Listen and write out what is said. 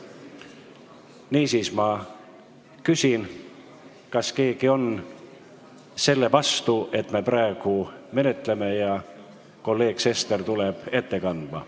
Niisiis, ma küsin, kas keegi on selle vastu, et me praegu seda eelnõu menetleme ja kolleeg Sester tuleb ette kandma.